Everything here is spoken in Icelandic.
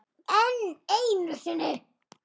Enn einu sinni.